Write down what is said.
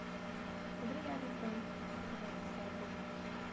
Muito obrigada, então, por ter contado essa história para gente.